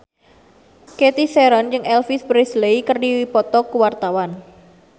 Cathy Sharon jeung Elvis Presley keur dipoto ku wartawan